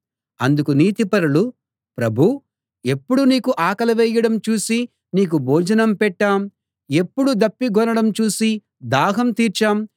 అందుకు నీతిపరులు ప్రభూ ఎప్పుడు నీకు ఆకలి వేయడం చూసి నీకు భోజనం పెట్టాం ఎప్పుడు దప్పిగొనడం చూసి దాహం తీర్చాం